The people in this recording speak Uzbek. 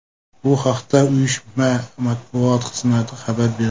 Bu haqda uyushma matbuot xizmati xabar berdi .